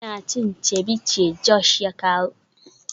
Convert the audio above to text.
Ina cin ceviche Josh ya kawo.